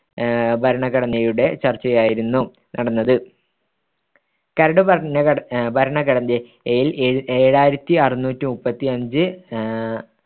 ആഹ് ഭരണഘടനയുടെ ചർച്ചയായിരുന്നു നടന്നത് കര്ടു ഭരണ ഭരണഘടനയിൽ ഏഴായിരുത്തിയിരുന്നൂറ്റിമുപ്പത്തിയഞ്ച് ആഹ്